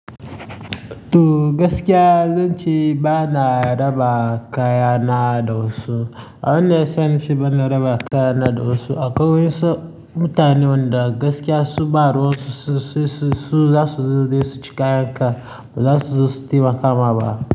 To gaskiya, zan ce bana raba kaya na da wasu. Abin da ya sa naci bana raba kaya na da wasu, akwai wayansu mutane wanda gaskiya su ba ruwan su, su, su, su za su je su ci kayan ka, ba za su zo su taimaka ma ba.